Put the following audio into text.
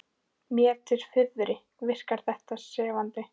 Mér til furðu virkar þetta sefandi.